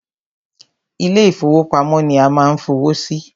Ilé ìfọwọ́pamo ni a ma ń fowó sí.